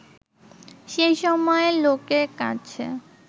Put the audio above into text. সে সময়ে লোকের কাছে